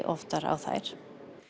oftar á þær